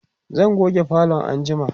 zan goge falon anjima